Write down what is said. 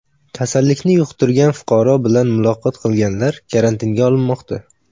Kasallikni yuqtirgan fuqaro bilan muloqot qilganlar karantinga olinmoqda.